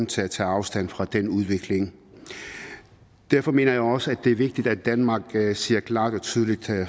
til at tage afstand fra den udvikling derfor mener jeg også at det er vigtigt at danmark siger klart og tydeligt